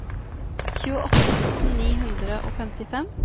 tjueåtte tusen ni hundre og femtifem